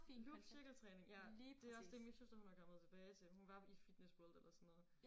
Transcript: Loop cirkeltræning. Ja det også det min søster hun er kommet tilbage til. Hun var i Fitness World eller sådan noget